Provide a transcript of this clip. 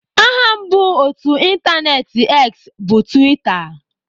Aha mbụ otú ịntaneetị X bụ Twitter.